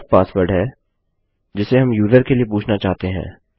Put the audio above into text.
def password है जिसे हम यूजर के लिए पूछना चाहते हैं